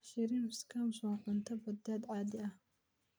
Shrimp scampi waa cunto badeed caadi ah.